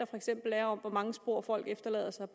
for eksempel er om hvor mange spor folk efterlader sig